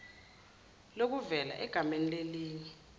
lokuvela egamele lelinye